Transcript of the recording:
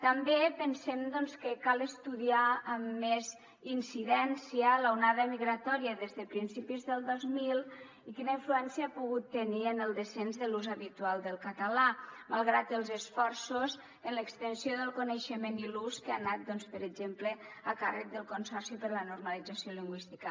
també pensem doncs que cal estudiar amb més incidència l’onada migratòria des de principis del dos mil i quina influència ha pogut tenir en el descens de l’ús habitual del català malgrat els esforços en l’extensió del coneixement i l’ús que ha anat per exemple a càrrec del consorci per a la normalització lingüística